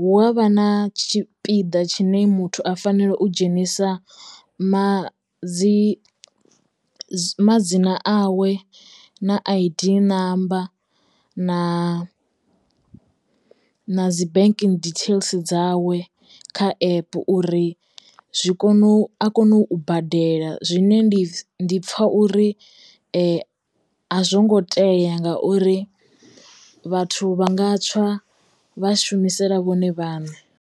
hu avha na tshipiḓa tshine muthu a fanela u dzhenisa ma dzi madzina a we na a I_D namba na na dzi banking details dzawe kha epe uri zwi kone u a kona u badela zwine ndi pfha uri a zwo ngo tea ngauri vhathu vha nga tswa vha shumisela vhone vhaṋe.